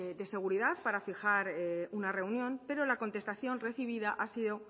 de seguridad para fijar una reunión pero la contestación recibida ha sido